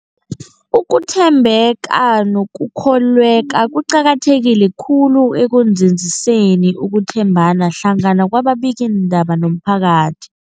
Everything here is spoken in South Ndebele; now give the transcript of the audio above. Ukuthembeka nokukholweka kuqakatheke khulu ekunzinziseni ukuthembana hlangana kwababikiindaba nomphakathi.